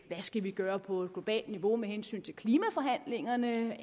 skal gøre på et globalt niveau med hensyn til klimaforhandlingerne